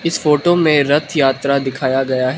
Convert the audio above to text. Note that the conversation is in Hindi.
फोटो मे रथ यात्रा दिखाया गया है।